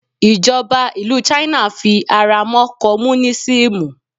ìjọba ìlú china fi ara mọ́ komunisimu